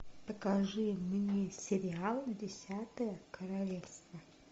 покажи мне сериал десятое королевство